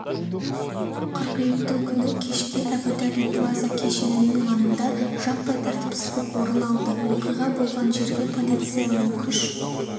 қыркүйектің күні кешке әбу-даби плаза кешенінің маңында жаппай тәртіпсіздік орын алды оқиға болған жерге полицияның күш